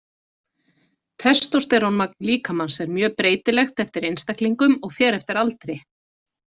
Testósterónmagn líkamans er mjög breytilegt eftir einstaklingum og fer eftir aldri.